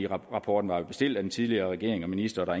rapporten var jo bestilt af den tidligere regering og minister og der